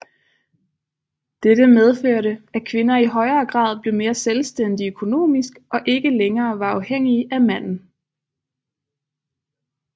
Dette medførte at kvinder i højere grad blev mere selvstændige økonomisk og ikke længere var afhængige af manden